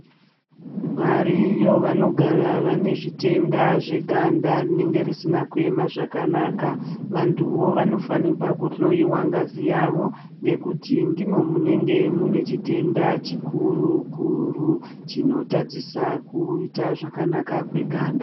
Variyo vanogara vane zvitenda zveganda rinenge risina kuema zvakanaka vanhuvo vanofanirwa kuhloyiwa ngazi yavo ngekuti ndimwo munenge mune chitenda chikuru kuru chinotadzisa kuita zvakanaka kweganda.